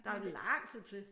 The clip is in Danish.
Der er jo lang tid til